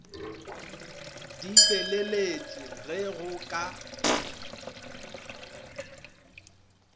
di feleletše ge go ka